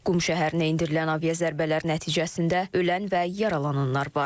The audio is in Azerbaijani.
Qum şəhərinə endirilən aviazərbələr nəticəsində ölən və yaralananlar var.